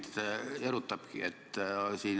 Just see mind erutabki.